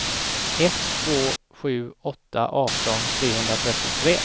ett två sju åtta arton trehundratrettiotre